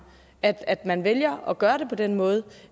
at at man vælger at gøre det på den måde